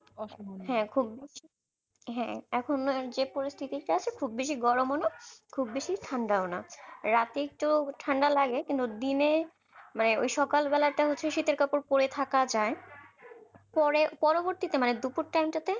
হ্যাঁ এখন যে পরিস্থিতিতে আছে খুব বেশি গরম ও না খুব বেশি ঠান্ডাও না রাত এ একটু ঠান্ডা লাগে কিন্তু দিনে মানে ওই সকাল বেলাটা হচ্ছে শীতের কাপড় পরে থাকা যায় পরে পরবর্তীতে মানে দুপুর time টা তে